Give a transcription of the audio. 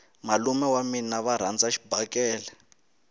malume wa mina va rhandza xibakele